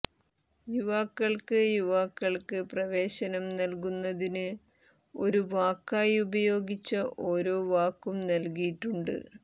യുവാക്കൾക്ക് യുവാക്കൾക്ക് പ്രവേശനം നൽകുന്നതിന് ഒരു വാക്കായി ഉപയോഗിച്ച ഓരോ വാക്കും നൽകിയിട്ടുണ്ട്